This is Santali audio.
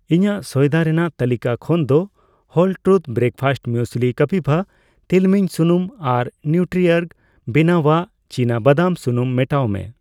ᱤᱧᱟᱜ ᱥᱚᱭᱫᱟ ᱨᱮᱱᱟᱜ ᱛᱟᱹᱞᱤᱠᱟ ᱠᱷᱚᱱ ᱫᱚ ᱦᱳᱞ ᱛᱨᱩᱛᱷ ᱵᱨᱮᱠᱯᱷᱟᱥᱴ ᱢᱩᱭᱮᱥᱞᱤ, ᱠᱟᱯᱤᱵᱣᱟ ᱛᱤᱞᱢᱤᱧ ᱥᱩᱱᱩᱢ ᱟᱨ ᱱᱤᱣᱴᱨᱤᱚᱨᱜ ᱵᱮᱱᱟᱣᱟᱜ ᱪᱤᱱᱟᱵᱟᱫᱟᱢ ᱥᱩᱱᱩᱢ ᱢᱮᱴᱟᱣ ᱢᱮ ᱾